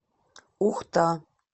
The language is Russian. ухта